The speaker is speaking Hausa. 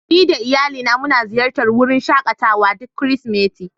Ni da iyalina muna ziyartar wurin shakatawa duk Kirsimeti.